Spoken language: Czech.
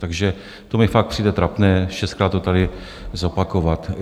Takže to mi fakt přijde trapné šestkrát to tady zopakovat.